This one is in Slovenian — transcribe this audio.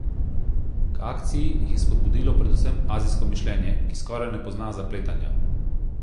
K akciji jih je spodbudilo predvsem azijsko mišljenje, ki skoraj ne pozna zapletanja.